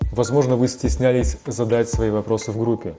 возможно вы стеснялись задать свои вопросы в группе